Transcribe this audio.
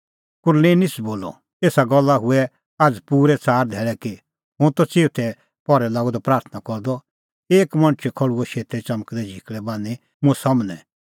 कुरनेलिस बोलअ एसा गल्ला हुऐ आझ़ पूरै च़ार धैल़ै कि हुंह त चिऊथै पहरै लागअ द प्राथणां करदअ एक मणछ खल़्हुअ शेतै च़मकदै झिकल़ै बान्हीं मुंह सम्हनै